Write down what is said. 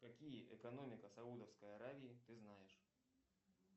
какие экономика саудовской аравии ты знаешь